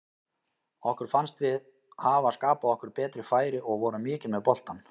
Okkur fannst við hafa skapað okkur betri færi og vorum mikið með boltann.